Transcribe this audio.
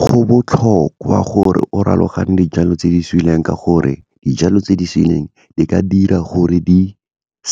Go botlhokwa gore o raloganye dijalo tse di suleng ka gore dijalo tse di suleng di ka dira gore di